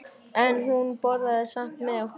En hún borðaði samt með okkur.